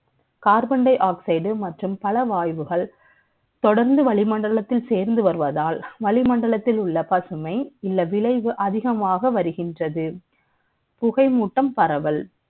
Carbon dioxide மற்றும் பல வாயுக்கள் தொடர்ந்து வழி மண்டலத்தில் சேர்ந்து வருவதால் வளிமண்டலத்தில் உள்ள பசுமை இல்ல விளைவு அதிகமாக வருகின்றது புகைமூட்டம் பரவல்